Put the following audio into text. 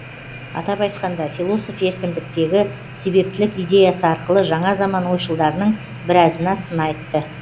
атап айтқанда философ еркіндіктегі себептілік идеясы арқылы жаңа заман ойшылдарының біразына сын айтты